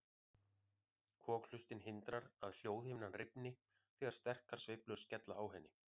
Kokhlustin hindrar að hljóðhimnan rifni þegar sterkar sveiflur skella á henni.